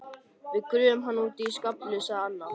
Við gröfum hann úti í skafli sagði Anna.